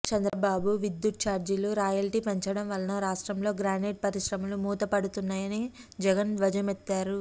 చంద్రబాబు విద్యుత్ చార్జీలు రాయల్టీ పెంచడం వలన రాష్ట్రంలో గ్రానైట్ పరిశ్రమలు మూత పడుతున్నాయని జగన్ ధ్వజమెత్తారు